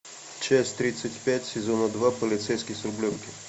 часть тридцать пять сезона два полицейский с рублевки